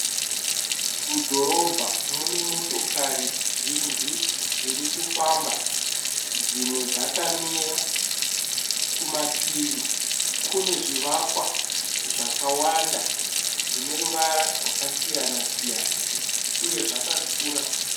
Mudhorobha mune motokari zhinji dziri kufamba. Dzimwe dzakamira. Kumativi kune zvivakwa zvakawanda zvine ruvara zvakasiyana- siyana uye zvakakura.